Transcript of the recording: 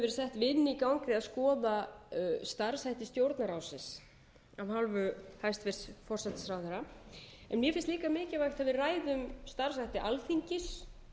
að skoða starfshætti stjórnarráðsins af hálfu hæstvirts forsætisráðherra en mér finnst líka mikilvægt að við ræðum um starfshætti alþingis